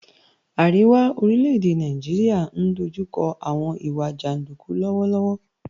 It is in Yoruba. Àríwá orílẹ̀-èdè Nàìjíríà ń dojú kọ àwọn ìwà jàndúkú lọ́wọ́lọ́wọ́